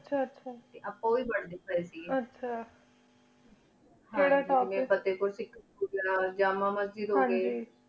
ਆਚਾ ਆਚਾ ਅਪਾ ਓਵੇ ਰੇਵੋਇਸ ਕੇਰ ਲੀ ਆਹ ਕਿਰਾ topic ਆਇਕ ਜੇਮਾ ਮਾਸ੍ਜੇਡ